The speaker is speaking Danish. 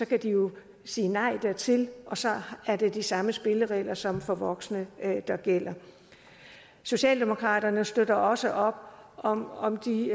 kan de jo sige nej dertil og så er det de samme spilleregler som for voksne der gælder socialdemokraterne støtter også op om om de